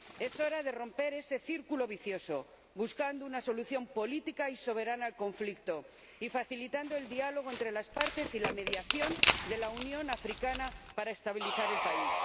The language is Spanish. Es hora de romper ese círculo vicioso, buscando una solución política y soberana al conflicto y facilitando el diálogo entre las partes y la mediación de la Unión Africana para estabilizar el país.